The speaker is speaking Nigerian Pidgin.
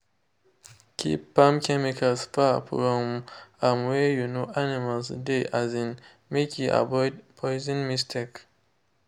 keep farm chemicals far from um wey um animals de um make e avoid poison mistake.